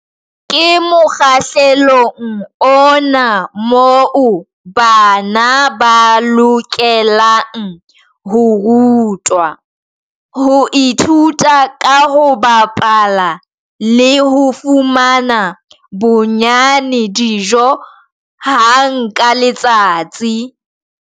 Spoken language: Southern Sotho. Ke mokgahlelong ona moo bana ba lokelang ho rutwa, ho ithuta ka ho bapala le ho fumana bonnyane dijo hang ka letsatsi.